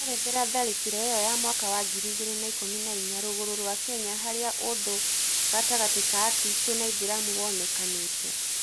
ĩrerethera tharĩkĩra ĩyo ya mwaka wa ngiri igĩrĩ na ikũmi na inya rũgũrrũ rwa kenya harĩa ũthũ gatagatĩ ka akristo na aĩthĩramũ wonekanĩte